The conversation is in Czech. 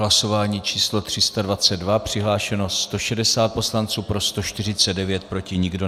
Hlasování číslo 321. Přihlášeno 160 poslanců, pro 135, proti nikdo.